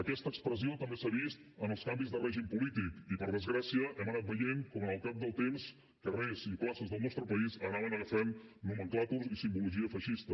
aquesta expressió també s’ha vist en els canvis de règim polític i per desgràcia hem anat veient com al cap del temps carrers i places del nostre país anaven agafant nomenclàtors i simbologia feixista